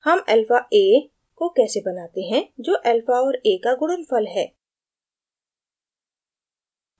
how alpha a को कैसे बनाते हैं जो alpha और a का गुणनफल है